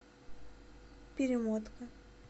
перемотка